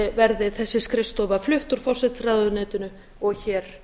verði þessi skrifstofa flutt úr forsætisráðuneytinu og hér